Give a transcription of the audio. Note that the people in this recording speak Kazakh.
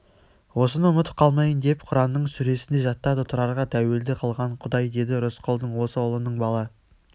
осыны ұмытып қалмайын деп құранның сүресіндей жаттады тұрарға тәуелді қылған құдай деді рысқұлдың осы ұлының бала